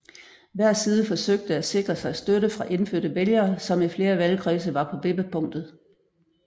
Hver side forsøgte at sikre sig støtte fra indfødte vælgere som i flere valgkredse var på vippepunktet